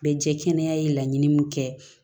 Bɛɛ jɛ kɛnɛ ye laɲini min kɛ